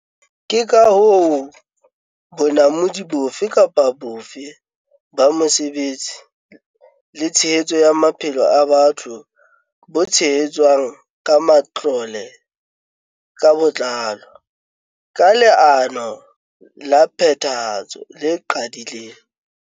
Ke ka hoo bonamodi bofe kapa bofe ba mosebetsi le tshehetso ya maphelo a batho bo tshehetswang ka matlole ka botlalo, ka leano la phethahatso le qaqileng.